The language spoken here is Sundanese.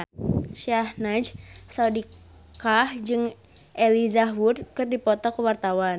Syahnaz Sadiqah jeung Elijah Wood keur dipoto ku wartawan